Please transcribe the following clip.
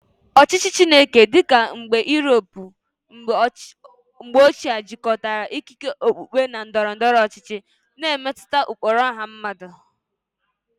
Ọchịchị Chineke dị ka Europe mgbe ochie jikọtara ikike okpukpe na ndọrọ ndọrọ ọchịchị, na-emetụta ụkpụrụ ọha mmadụ.